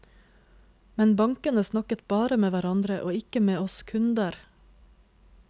Men bankene snakket bare med hverandre og ikke med oss kunder.